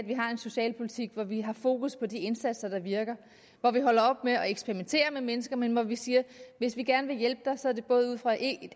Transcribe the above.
vi har en socialpolitik hvor vi har fokus på de indsatser der virker hvor vi holder op med at eksperimentere med mennesker men hvor vi siger at hvis vi gerne vil hjælpe en person er det både ud fra et